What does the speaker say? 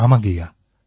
ஆமாங்கய்யா